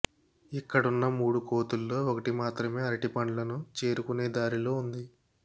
ఇక్కడున్న మూడు కోతుల్లో ఒకటి మాత్రమే అరటిపండ్లను చేరుకునే దారిలో ఉంది